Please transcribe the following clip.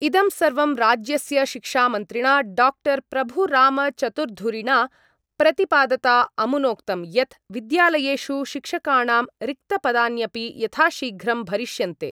इदं सर्वं राज्यस्य शिक्षामन्त्रिणा डाक्टर् प्रभुरामचतुर्धुरिणा प्रतिपादता अमुनोक्तं यत् विद्यालयेषु शिक्षकाणां रिक्तपदान्यपि यथाशीघ्रं भरिष्यन्ते।